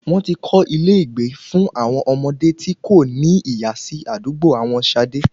Wọ́n ti kọ́ ilé ìgbé fún àwọn ọmọdé tí kò ní ìyá sí àdúgbò àwọn Ṣadé